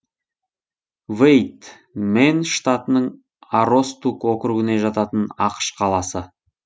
вэйд мэн штатының аростук округіне жататын ақш қаласы